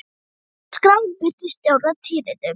Síðan var skráin birt í Stjórnar- tíðindum.